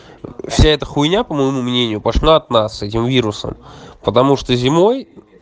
ээ вся это хуйня по моему мнению пошла от нас с этим вирусом потому что зимой